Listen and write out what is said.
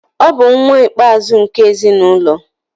ọ bu nwa ikpe-azu nke ezi n'ulo